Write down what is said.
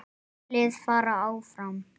Tvö lið fara áfram.